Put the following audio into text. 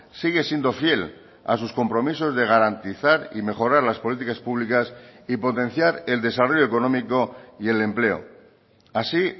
sigue siendo fiel a sus compromisos de garantizar y mejorar las políticas públicas y potenciar el desarrollo económico y el empleo así